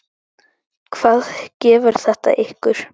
Hvað gefur þetta ykkur?